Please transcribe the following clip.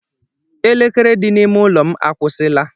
Elekere dị n'ime ụlọ m akwusila.